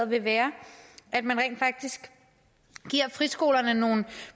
vil være at man rent faktisk giver friskolerne nogle